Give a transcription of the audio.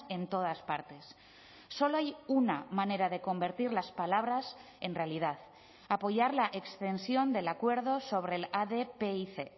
en todas partes solo hay una manera de convertir las palabras en realidad apoyar la extensión del acuerdo sobre el adpic